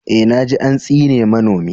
Eh, na ji an tsine manomi.